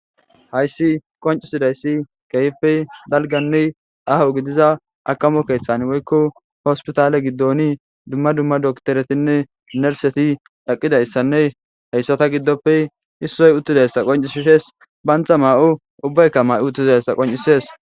Hayssi qoncisidayssi kehpey dalganne aho gidiza akamo keeththan woykko hospitaale giddoni dumma dumma dokteretinne nerseti dhaqqidayssanne hayssata giddoppe issoy uttidayssa qoncisishees bantha maa'o ubbaykka ma'o uttizayssa qoncisees.